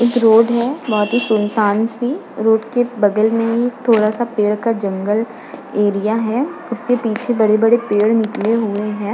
एक रोड है बोहोत ही सुनसान सी रोड के बगल में एक थोड़ा सा पेड़ का जंगल एरिया है। उसके पीछे बड़े-बड़े पेड़ निकले हुए हैं।